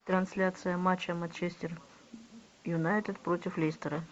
трансляция матча манчестер юнайтед против лестера